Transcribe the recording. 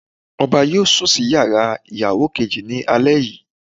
Ọba yóò sùn sí yàrá ìyàwó kejì ní alẹ́ yìí.